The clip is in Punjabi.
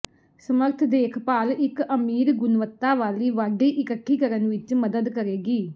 ਸਮਰੱਥ ਦੇਖਭਾਲ ਇੱਕ ਅਮੀਰ ਗੁਣਵੱਤਾ ਵਾਲੀ ਵਾਢੀ ਇਕੱਠੀ ਕਰਨ ਵਿੱਚ ਮਦਦ ਕਰੇਗੀ